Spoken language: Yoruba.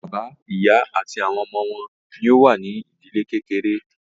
Bàbá, ìyá àti àwọn ọmọ wọn ní o wà ní ìdílé kékeré.